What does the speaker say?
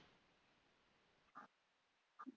ਤੂੰ ਛੇਤੀ ਖਾਲੇ ਹੋਣੇ